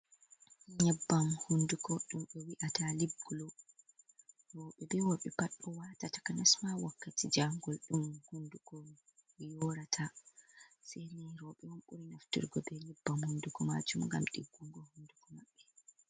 Nyebbam hunduko ɗum ɓe wi'ata lib glo, rooɓe be worɓe pat ɗo wata takansma wakkati jangol ɗum hunduko yorata, seni rooɓe on ɓuri naftirgo be nyebbam hunduko majum ngam ɗiggungo hunduko maɓɓe.